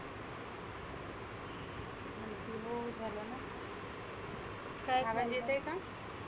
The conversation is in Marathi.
हो झालं ना आवाज येतक का?